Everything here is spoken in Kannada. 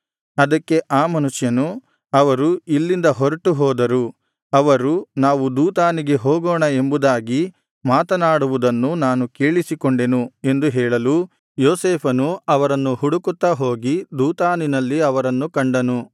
ಅದಕ್ಕೆ ಆ ಮನುಷ್ಯನು ಅವರು ಇಲ್ಲಿಂದ ಹೊರಟುಹೋದರು ಅವರು ನಾವು ದೋತಾನಿಗೆ ಹೋಗೋಣ ಎಂಬುದಾಗಿ ಮಾತನಾಡುವುದನ್ನು ನಾನು ಕೇಳಿಸಿಕೊಂಡೆನು ಎಂದು ಹೇಳಲು ಯೋಸೇಫನು ಅವರನ್ನು ಹುಡುಕುತ್ತಾ ಹೋಗಿ ದೋತಾನಿನಲ್ಲಿ ಅವರನ್ನು ಕಂಡನು